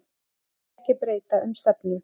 Vilja ekki breyta um stefnu